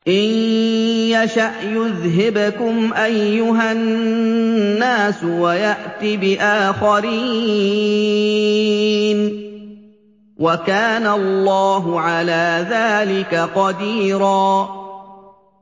إِن يَشَأْ يُذْهِبْكُمْ أَيُّهَا النَّاسُ وَيَأْتِ بِآخَرِينَ ۚ وَكَانَ اللَّهُ عَلَىٰ ذَٰلِكَ قَدِيرًا